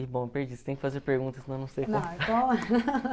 E bom, perdi, você tem que fazer perguntas, senão eu não sei